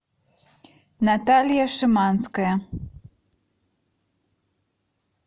наталья шиманская